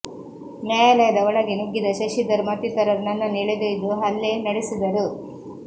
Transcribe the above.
ನ್ಯಾಯಾಲಯದ ಒಳಗೆ ನುಗ್ಗಿದ ಶಶಿಧರ್ ಮತ್ತಿತರರು ನನ್ನನ್ನು ಎಳೆದೊಯ್ದು ಹಲ್ಲೆ ನಡೆಸಿದರು